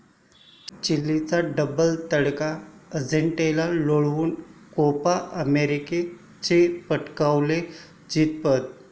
चिलीचा double 'तडका', अर्जेंटिनाला लोळवून 'कोपा अमेरिका'चे पटकावले जेतेपद